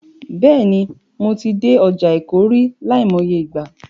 Bẹ́ẹ̀ni, mo ti dé ọjà Èkó rí, láìmọye ìgbà.